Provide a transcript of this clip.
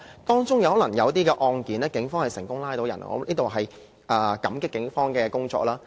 當中可能有一些案件，警方成功拘捕疑犯，我在此感激警方的努力。